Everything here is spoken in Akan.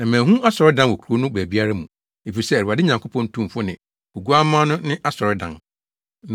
Na manhu asɔredan wɔ kurow no baabiara mu, efisɛ Awurade Nyankopɔn Tumfo ne Oguamma no ne asɔredan.